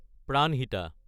Pranhita